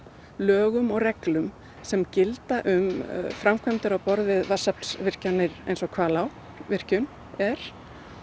lögum og reglum sem gilda um framkvæmdir á borð við vatnsaflsvirkjanir eins og Hvalárvirkjun er